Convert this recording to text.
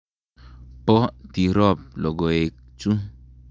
Po Tirop logoek chu?